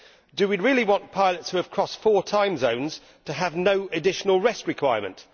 Do we really want pilots who have crossed four time zones to have no additional rest requirements?